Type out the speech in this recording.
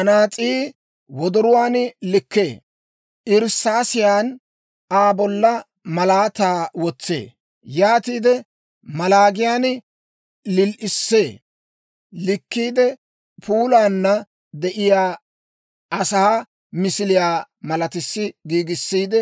Anaas'ii wodoruwaan likkee; irssaasiyan Aa bolla malaataa wotsee; yaatiide maloogiyaan lil"issee. Likkiide, puulaana de'iyaa asaa misiliyaa malatissi giigissiide,